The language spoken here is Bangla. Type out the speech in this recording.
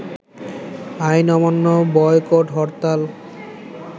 আইন অমান্য, বয়কট হরতাল